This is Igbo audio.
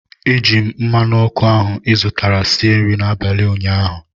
Eji m mmanụ ọkụ ahụ izụtara sie nri abalị ụnyaahụ